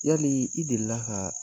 Yali i delila ka